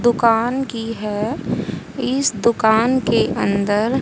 दुकान की है इस दुकान के अंदर--